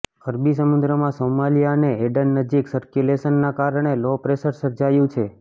અરબી સમુદ્રમાં સોમાલિયા અને એડન નજીક સર્ક્યુલેશનના કારણે લો પ્રેશર સર્જાયું છે